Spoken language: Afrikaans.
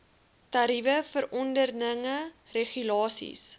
tariewe verordeninge regulasies